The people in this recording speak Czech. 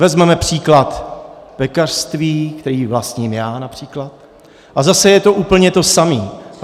Vezmeme příklad pekařství, které vlastním já například, a zase je to úplně to samé.